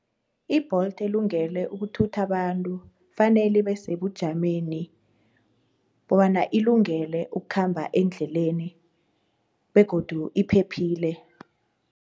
I-Bolt elungele ukuthutha abantu fanele ibesebujameni bobana ilungele ukukhamba endleleni begodu iphephile.